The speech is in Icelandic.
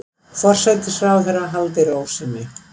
Forsætisráðherra haldi ró sinni